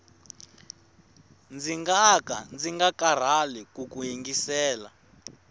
ndzi ngaka ndzi nga karhali kuku yingisela